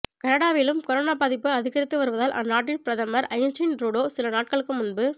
கனடாவிலும் corona பாதிப்பு அதிகரித்து வருவதால் அந்நாட்டின் பிரதமர் ஜஸ்டின் ட்ரூடோ சில நாட்களுக்கு முன்